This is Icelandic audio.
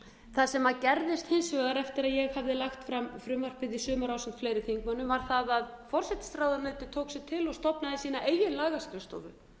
það sem gerðist hins betur eftir að ég hafði lagt fram frumvarpið í sumar ásamt fleiri þingmönnum var það að forsætisráðuneytið tók sig til og stofnaði sína eigin lagaskrifstofu